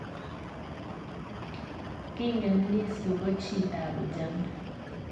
Kiingen Lissu kochitab ujamaa